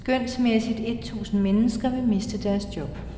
Skønsmæssigt et tusind mennesker vil miste deres job.